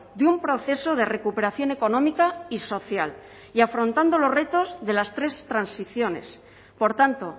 de un proceso de recuperación económica y social y afrontando los retos de las tres transiciones por tanto